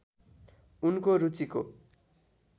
उनको रुचिको